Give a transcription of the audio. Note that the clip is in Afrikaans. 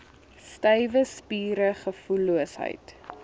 stywe spiere gevoelloosheid